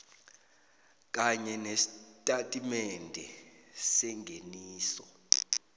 kanye nestatimende sengeniso